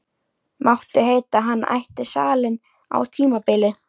Mátti heita að hann ætti salinn á tímabili.